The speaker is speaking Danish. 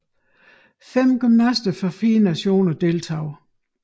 Fem gymnaster fra 4 nationer deltog